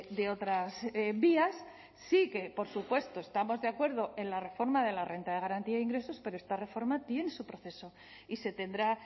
de otras vías sí que por supuesto estamos de acuerdo en la reforma de la renta de garantía de ingresos pero esta reforma tiene su proceso y se tendrá